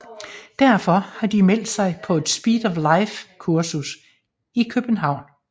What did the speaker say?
Derfor har de har meldt sig på et Speed of Life kursus i København